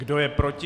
Kdo je proti?